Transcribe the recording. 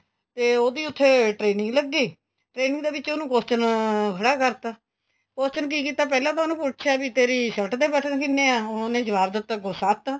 ਤੇ ਉਹਦੀ ਉੱਥੇ training ਲੱਗੀ training ਦੇ ਵਿੱਚ ਉਹਨੂੰ question ਖੜਾ ਕਰਤਾ question ਕੀ ਕੀਤਾ ਪਹਿਲਾਂ ਤਾਂ ਉਹਨੂੰ ਪੁੱਛਿਆ ਬੀ ਤੇਰੀ shirt ਦੇ button ਕਿੰਨੇ ਆ ਉਹਨੇ ਜਵਾਬ ਦਿੱਤਾ ਅੱਗੋ ਸੱਤ